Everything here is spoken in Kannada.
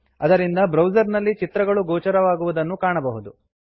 ಅದರಿಂದ ಬ್ರೌಸರ್ ನಲ್ಲಿ ಚಿತ್ರಗಳು ಗೋಚರವಾಗುವುದನ್ನು ಕಾಣಬಹುದು